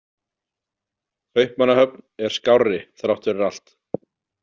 Kaupmannahöfn er skárri þrátt fyrir allt.